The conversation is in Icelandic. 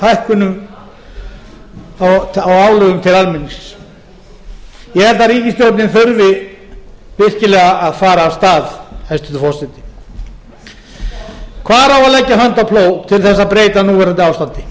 hækkunum á álögum til almennings ég held að ríkisstjórnin þurfi virkilega að fara af stað hæstvirtur forseti hvar á að leggja hönd á plóg til að